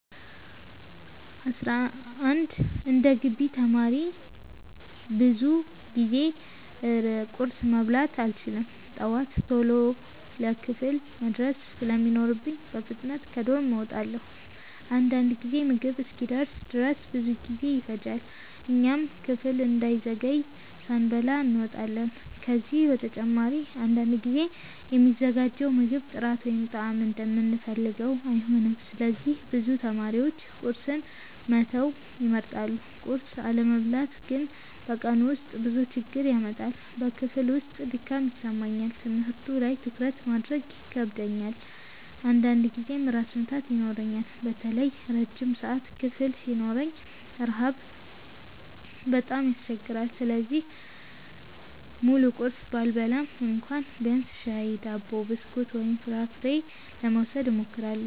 11እንደ ግቢ ተማሪ ብዙ ጊዜ ቁርስ መብላት አልችልም። ጠዋት ቶሎ ለክፍል መድረስ ስለሚኖርብኝ በፍጥነት ከዶርም እወጣለሁ። አንዳንድ ጊዜ ምግብ እስኪደርስ ድረስ ብዙ ጊዜ ይፈጃል፣ እኛም ክፍል እንዳንዘገይ ሳንበላ እንወጣለን። ከዚህ በተጨማሪ አንዳንድ ጊዜ የሚዘጋጀው ምግብ ጥራት ወይም ጣዕም እንደምንፈልገው አይሆንም፣ ስለዚህ ብዙ ተማሪዎች ቁርስን መተው ይመርጣሉ። ቁርስ አለመብላት ግን በቀኑ ውስጥ ብዙ ችግር ያመጣል። በክፍል ውስጥ ድካም ይሰማኛል፣ ትምህርቱ ላይ ትኩረት ማድረግ ይከብደኛል፣ አንዳንድ ጊዜም ራስ ምታት ይኖረኛል። በተለይ ረጅም ሰዓት ክፍል ሲኖረን ረሃብ በጣም ያስቸግራል። ስለዚህ ሙሉ ቁርስ ባልበላም እንኳ ቢያንስ ሻይ፣ ዳቦ፣ ብስኩት ወይም ፍራፍሬ ለመውሰድ እሞክራለሁ።